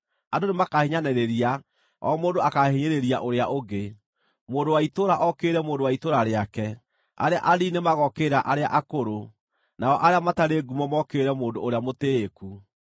Andũ nĩmakahiinyanĩrĩria: o mũndũ akaahinyĩrĩria ũrĩa ũngĩ, mũndũ wa itũũra okĩrĩre mũndũ wa itũũra rĩake. Arĩa anini nĩmagookĩrĩra arĩa akũrũ, nao arĩa matarĩ ngumo mokĩrĩre mũndũ ũrĩa mũtĩĩku.